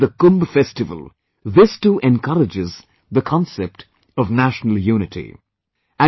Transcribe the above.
Just like the Kumbh festival, this too, encourages the concept of national unity